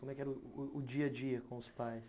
Como que era o dia a dia com os pais?